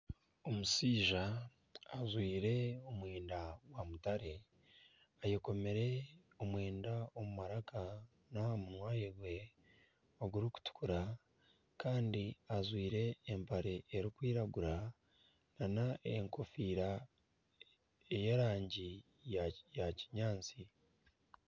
Omushaija ajwire omwenda gwa mutare, ayekomire omwenda omu maraka n'aha munwa gwe ogurikutukura kandi ajwire n'empare erikwiragura nana enkofiira ey'arangi ya kinyaatsi